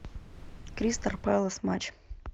кристал пэлас матч